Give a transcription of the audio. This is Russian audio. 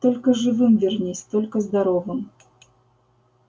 только живым вернись только здоровым